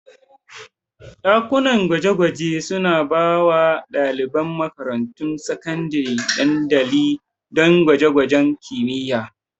Dakunan gwaje-gwaje suna ba wa ɗaliban makarantun sakandare dandali don gwaje-gwajen kimiyya.